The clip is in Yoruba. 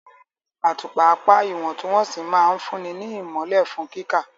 Àtùpà apá ìwọ̀ntúnwọ̀nsì máa ń fúnni ní ìmọ́lẹ̀ fún kíkà.